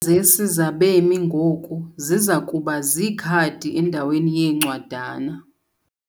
zisi zabemi ngoku ziza kuba ziikhadi endaweni yeencwadana.